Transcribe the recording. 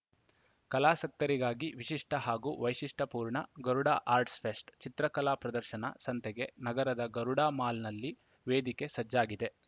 ಕಲಾಸಕ್ತರಿಗಾಗಿ ವಿಶಿಷ್ಟಹಾಗೂ ವೈಶಿಷ್ಟ್ಯಪೂರ್ಣ ಗರುಡಾ ಆಟ್ಸ್‌ರ್‍ ಫೆಸ್ಟ್‌ ಚಿತ್ರಕಲಾ ಪ್ರದರ್ಶನ ಸಂತೆಗೆ ನಗರದ ಗರುಡಾ ಮಾಲ್‌ನಲ್ಲಿ ವೇದಿಕೆ ಸಜ್ಜಾಗಿದೆ